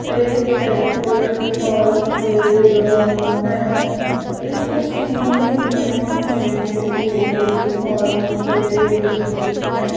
एक health care दिखाई दे रहा है। इस तस्वीर में मुझे टेबल दिखाई दे रही है।